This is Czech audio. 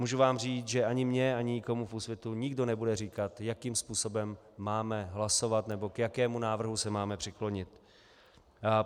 Můžu vám říct, že ani mně ani nikomu v Úsvitu nikdo nebude říkat, jakým způsobem máme hlasovat nebo k jakému návrhu se máme přiklonit.